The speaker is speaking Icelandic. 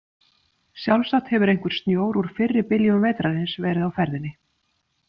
Sjálfsagt hefur einhver snjór úr fyrri byljum vetrarins verið á ferðinni.